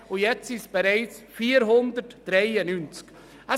Jetzt sind es bereits 493.